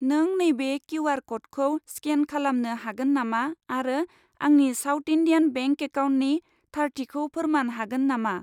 नों नैबे किउ.आर. क'डखौ स्केन खलामनो हागोन नामा आरो आंनि साउट इन्डियान बेंक एकाउन्टनि थारथिखौ फोरमान हागोन नामा?